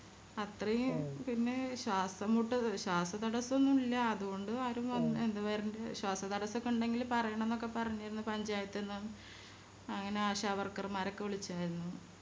അത്രയും പിന്നെ ശ്വാസം മുട്ടല് ശ്വാസതദസൊന്നും ഇല്ല അതുകൊണ്ട് ആരും വന്ന് എന്താ വരണ്ടേ ശ്വാസതടസ്സൊക്കെ ഇണ്ടെങ്കില് പറയാണന്നൊക്കെ പറഞ്ഞിരുന്നു പഞ്ചായത്ത്ന്ന് അങ്ങനെ ആശ Worker മാരൊക്കെ വിളിച്ചിരുന്നു